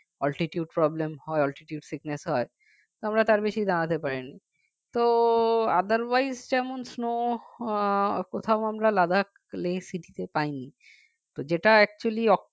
altitude problem হয় altitude sickness হয় আমরা তার বেশি দাঁড়াতে পারিনি তো otherwise যেমন snow কোথাও আমরা ladakhleh city তে পাইনি তো যেটা actually